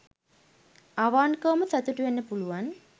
අවන්කවම සතුටු වෙන්න පුළුවන්